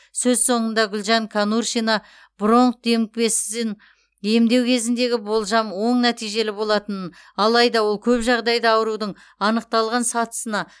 сөз соңында гүлжан конуршина бронх демікпесін емдеу кезіндегі болжам оң нәтижелі болатынын алайда ол көп жағдайда аурудың анықталған сатысына